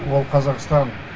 ол қазақстан